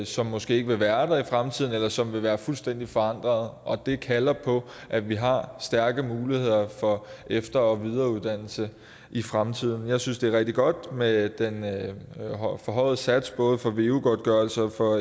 som måske ikke vil være der i fremtiden eller som vil være fuldstændig forandrede og det kalder på at vi har stærke muligheder for efter og videreuddannelse i fremtiden jeg synes det er rigtig godt med den forhøjede sats for både veu godtgørelsen og